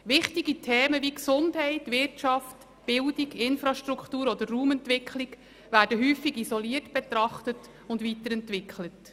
Wichtige Themen wie Gesundheit, Wirtschaft, Bildung, Infrastruktur oder Raumentwicklung werden häufig isoliert betrachtet und weiterentwickelt.